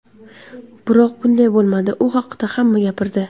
Biroq, bunday bo‘lmadi, u haqda hamma gapirdi.